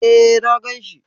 E, na gan shi.